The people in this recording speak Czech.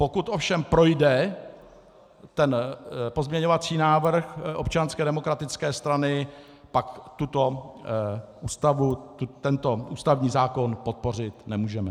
Pokud ovšem projde ten pozměňovací návrh Občanské demokratické strany, pak tuto ústavu, tento ústavní zákon podpořit nemůžeme.